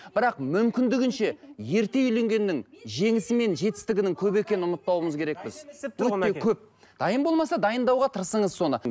бірақ мүмкіндігінше ерте үйленгеннің жеңісі мен жетістігінің көп екенін ұмытпауымыз керекпіз өте көп дайын болмаса дайындауға тырысыңыз соны